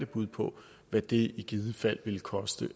bud på hvad det i givet fald ville koste